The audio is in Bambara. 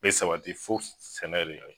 be sabati fo sɛnɛ de ka kɛ